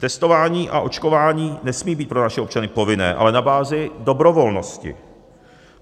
Testování a očkování nesmí být pro naše občany povinné, ale na bázi dobrovolnosti.